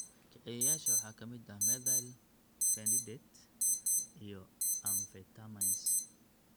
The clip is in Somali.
Kiciyeyaasha waxaa ka mid ah methylphenidate (Ritalin iyo Concerta), iyo amphetamines (Adderall).